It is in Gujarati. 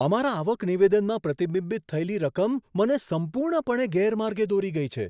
અમારા આવક નિવેદનમાં પ્રતિબિંબિત થયેલી રકમ મને સંપૂર્ણપણે ગેરમાર્ગે દોરી ગઈ છે.